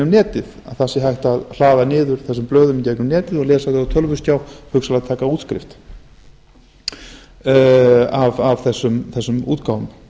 netið það sé hægt að raða niður þessum blöðum í gegnum netið og lesa þau á tölvuskjá hugsanlega taka útskrift af þessum útgáfum